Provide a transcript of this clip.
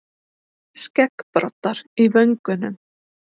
Skeggbroddar í vöngunum.